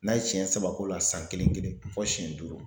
N'a ye siɲɛ saba k'o la san kelen kelen fɔ siyɛn duuru.